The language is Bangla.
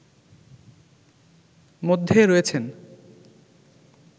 মধ্যে রয়েছেন